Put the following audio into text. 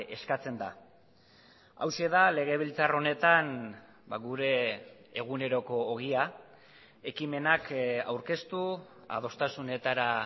eskatzen da hauxe da legebiltzar honetan gure eguneroko ogia ekimenak aurkeztu adostasunetara